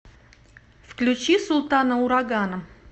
включи султана урагана